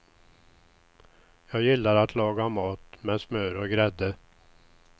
Jag gillar att laga mat med smör och grädde.